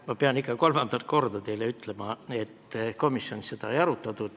Ma pean ikka kolmandat korda teile ütlema, et komisjonis seda ei arutatud.